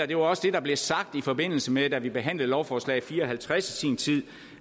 det var også det der blev sagt i forbindelse med at vi behandlede lovforslag l fire og halvtreds i sin tid